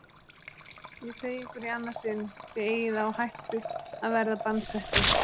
Ég segi ykkur í annað sinn: Þið eigið á hættu að verða bannsettir.